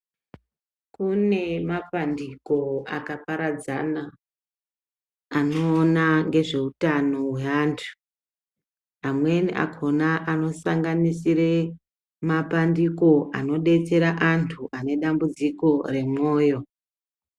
Kunemapandiko akaparadzana anowona ngezvehutano we antu. Amweni akhona anosanganisire mapandiko anodetsera antu anedambudziko remoyo.